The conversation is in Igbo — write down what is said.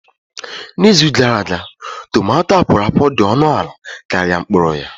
N'izu gara aga, tumato akworakwo dị ọnụ ala karịa mkpụrụ ya.